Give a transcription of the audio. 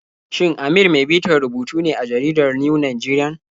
Shin Amir mai bitar rubutu ne a jaridar New Nigerian?